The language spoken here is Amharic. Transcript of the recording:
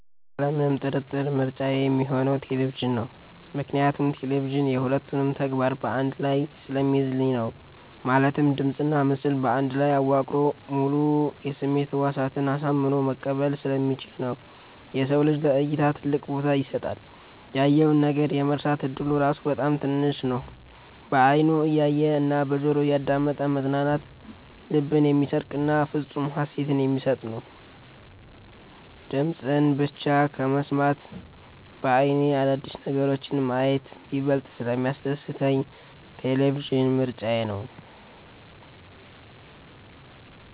ያለምንም ጥርጥር ምርጫዬ ሚሆነው ቴሌቪዥን ነው። ምክንያቱም ቴሌቪዥን የ ሁለቱንም ተግባር በ አንድ ላይ ስለሚይዝልኝ ነው። ማለትም ድምጽና ምስል በአንድ ላይ አዋቅሮ ሙሉ የስሜት ህዋሳትን አሳምኖ መቀጠል ስለሚችል ነው። የሰው ልጅ ለ እይታ ትልቅ ቦታ ይሰጣል። ያየውን ነገር የመርሳት እድሉ ራሱ በጣም ትንሽ ነው። በ አይኑ እያየ እና በጆሮው እያዳመጠ መዝናናት ልብን የሚሰርቅና ፍፁም ሃሴትን የሚሰጥ ነው። ድምፅን ብቻ ከመስማት በ አይኔ አዳዲስ ነገሮችን ማየት ይበልጥ ስለሚያስደስተኝ ቴሌቪዥን ምርጫዬ ነው።